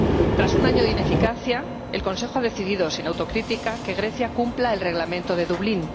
Tras un año de ineficacia, el Consejo ha decidido, sin autocrítica, que Grecia cumpla el Reglamento de Dublín.